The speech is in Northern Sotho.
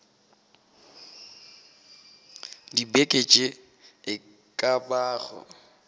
dibeke tše e ka bago